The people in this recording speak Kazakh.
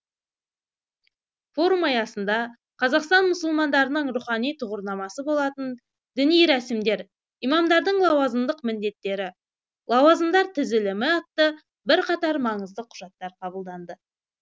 форум аясында қазақстан мұсылмандарының рухани тұғырнамасы болатын діни рәсімдер имамдардың лауазымдық міндеттері лауазымдар тізілімі атты бірқатар маңызды құжаттар қабылданды